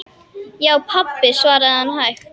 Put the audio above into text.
Já, pabba, svaraði hann hægt.